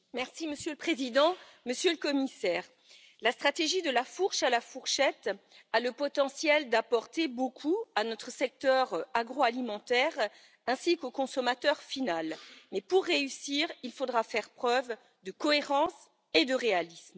Monsieur le Président, Monsieur le Commissaire, la stratégie de la fourche à la fourchette a le potentiel d'apporter beaucoup à notre secteur agroalimentaire ainsi qu'au consommateur final, mais pour réussir, il faudra faire preuve de cohérence et de réalisme.